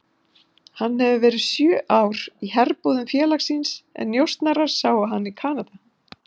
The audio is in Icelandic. Hann hefur verið sjö ár í herbúðum félagsins en njósnarar sáu hann í Kanada.